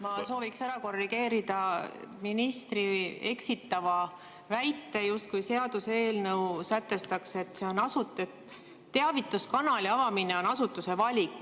Ma sooviksin ära korrigeerida ministri eksitava väite, justkui seaduseelnõu sätestaks, et see teavituskanali avamine on asutuse valik.